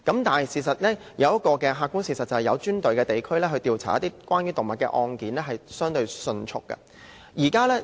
但是，事實上，設有專隊的警區調查關於動物的案件相對迅速。